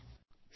ಧನ್ಯವಾದಗಳು